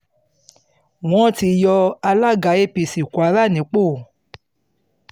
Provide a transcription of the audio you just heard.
wọ́n ti yọ alága apc kwara nípò